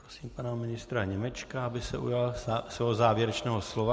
Prosím pana ministra Němečka, aby se ujal svého závěrečného slova.